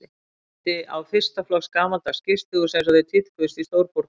Minnti á fyrsta flokks gamaldags gistihús einsog þau tíðkuðust í stórborgum Evrópu.